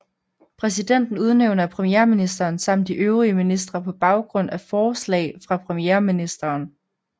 Præsidenten udnævner premierministeren samt de øvrige ministre på baggrund af forslag fra premierministeren